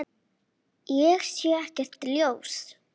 Ég sé ekkert ljós.